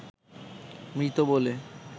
মৃত বলে